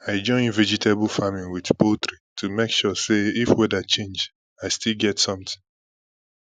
i join vegetable farming with poultry to make sure say if weather change i still get something